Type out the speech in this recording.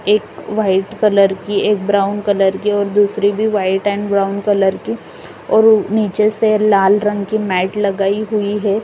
एक white colour की एक ब्राउन कलर की और दूसरी भी व्हाइट एंड ब्राउन कलर की और नीचे से लाल रंग की मैट लगाई हुई है।